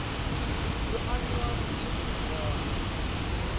yo aniwa tsini na kana